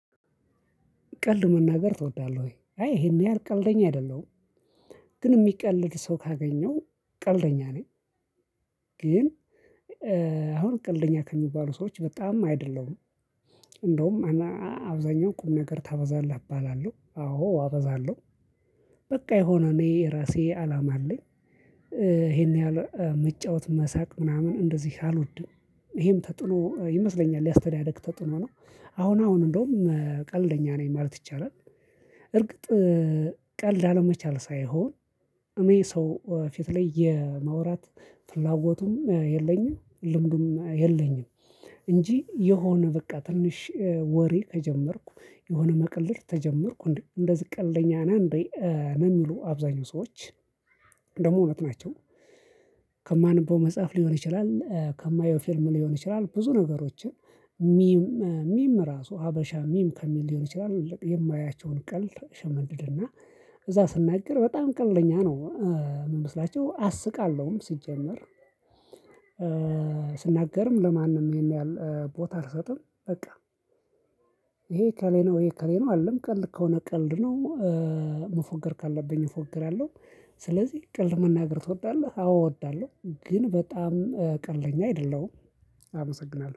ቀልድ መናገር ትወዳለህ? ወይ አይ ይሄን ያህል ቀልደኛ አይደለሁም። ግን የሚቀልድ ሰው ካገኘው ቀልደኛ ነኝ። ግን አሁን ቀልደኛ ከሚባሉ ሰዎች በጣም አይደለሁም። እንደውም አብዛኛው ቁም ነገር ታበዛለህ እባላለሁ አዎ አበዛለሁ። የሆነ እኔ የራሴ አላማ አለኝ። ይሄን ያህል መጫወት መሳቅ ምናምን እንደዚህ አልወድም። ይሄም ተጥኖ ይመስለኛል ያስተዳድግ ተጥኖ ነው። አሁን አሁን እንደውም ቀልደኛ ነኝ ማለት ይቻላል። እርግጥ ቀልድ አለመቻል ሳይሆን እመይ ሰው ፊት ላይ የማውራት ፍላጎቱም የለኝም ልምዱም የለኝም። እንጂ የሆነ በቃ ትንሽ ወሬ ከጀመርኩ የሆነ መቀለድ ተጀመርኩ እንዴ እንደዚ ቀልደኛ ነህ እንዴ? ነው የሚሉ አብዛኛው ሰዎች ደግሞ እውነት ናቸው። ከማነበው መጽሐፍ ሊሆን ይችላል ከማየው ፊርም ሊሆን ይችላል ብዙ ነገሮችን ሚም ሚም ራሱ ሀበሻ ሚም ከሚል ሊሆን ይችላል የማያቸውን ቀልድ እሸመድድ እና እዛ ስናገር በጣም ቀልደኛ ነው። የምመስላቸው አስቃለሁም ሲጀመር ስናገርም ለማንም ይሄን ያህል ቦታ አልሰጥም በቃ። ይሄ እከሌ ነው ይሄ እከሌ ነው አልልም ቀልድ ከሆነ ቀልድ ነው። መፎገር ካለብኝ እፎገራለሁ። ስለዚህ ቀልድ መናገር ትወዳለህ? አዎ እወዳለሁ ግን በጣም ቀልደኛ አይደለሁም። አመሰግናለሁ